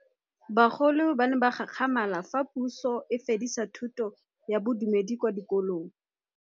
Bagolo ba ne ba gakgamala fa Pusô e fedisa thutô ya Bodumedi kwa dikolong.